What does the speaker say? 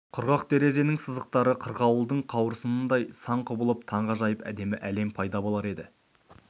құрақ терезенің сызықтары қырғауылдың қауырсынындай сан құбылып таңғажайып әдемі әлем пайда болар еді